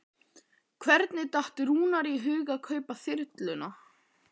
Hvernig datt Rúnari í hug að kaupa þyrluna?